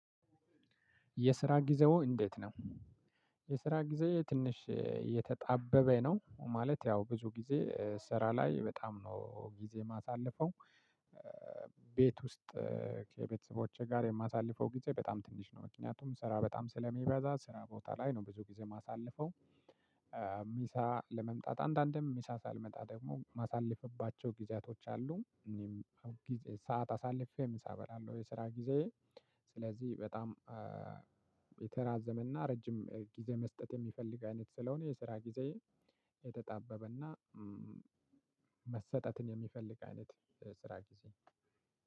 የስራ ጊዜዎ እንዴት ነው? የስራ ጊዜ ትንሽ የተጣበበ ነው ማለት ያው ብዙ ጊዜ ስራ ላይ በጣም ነው ጊዜ የማሳልፈው። ቤት ውስጥ። ከቤተሰቦቼ ጋር የማሳልፈው ጊዜ በጣም ትንሽ ነው። ምክንያቱም ስራ በጣም ስለሚበዛ ስራ ቦታ ላይ ነው ብዙ ጊዜ የማሳልፈው። ምሳ ለመምጣት አንዳንድም ምሳ ሳልመጣ ደግሞ ማሳልፍባቸው ጊዜያቶች አሉ። ሰዓት አሳልፌ ምሳ እበላለሁ የስራ ጊዜ። ስለዚህ በጣም የተራዘመና ረጅም ጊዜ መስጠት የሚፈልግ አይነት ስለሆነ የስራ ጊዜ የተጣበበና መሰጠትን የሚፈልግ አይነት ስራ ጊዜ።